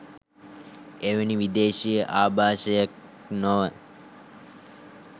එවැනි විදේශීය ආභාෂයක් නොව